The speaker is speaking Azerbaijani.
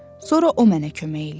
Sonra o mənə kömək eləyər.